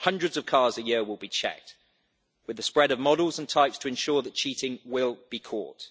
Hundreds of cars a year will be checked, with the spread of models and types to ensure that cheating will be caught.